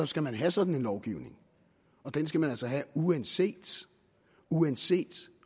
skal man have sådan en lovgivning og den skal man altså have uanset uanset